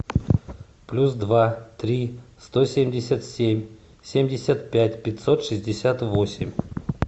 плюс два три сто семьдесят семь семьдесят пять пятьсот шестьдесят восемь